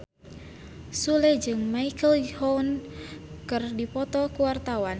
Sule jeung Michelle Yeoh keur dipoto ku wartawan